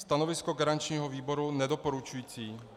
Stanovisko garančního výboru nedoporučující.